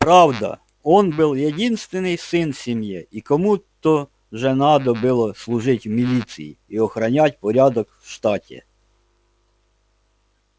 правда он был единственный сын в семье и кому то же надо было служить в милиции и охранять порядок в штате